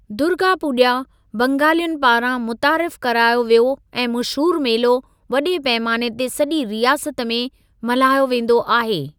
दुर्गा पूॼा, बंगालियुनि पारां मुतारिफ़ करायो वियो ऐं मशहूरु मेलो, वॾे पैमाने ते सॼी रियासत में मल्हायो वेंदो आहे।